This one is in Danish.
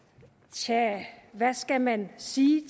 tja hvad skal man sige